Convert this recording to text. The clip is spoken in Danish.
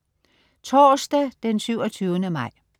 Torsdag den 27. maj